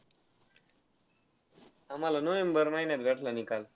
आम्हाला november महिन्यात भेटला निकाल.